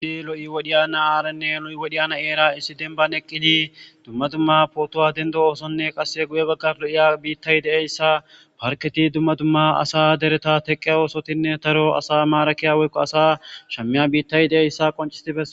Ha wodiya na'arane ha wodiya na'era issi dembane eqqidi dumma dumma photo dendosonanne qassi guye baggara lo'iya biittay de'iya issa parkketi dumma dumma asa dereta teqaya osottine daro asa marakiya woyko asa shammiya biittay de'isa qonccisi beeses.